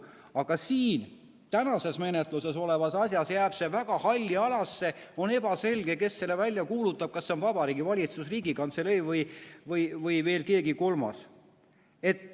Aga siin täna menetluses olevas asjas jääb see väga halli alasse, on ebaselge, kes selle välja kuulutab, kas see on Vabariigi Valitsus, Riigikantselei või veel keegi kolmas.